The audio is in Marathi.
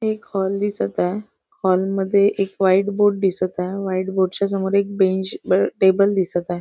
एक हॉल दिसत आहे हॉल मध्ये एक व्हाईट बोर्ड दिसत आहे व्हाईट बोर्ड च्या समोर एक बेंच टेबल दिसत आहे.